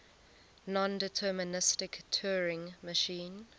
nondeterministic turing machine